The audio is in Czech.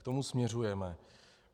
K tomu směřujeme.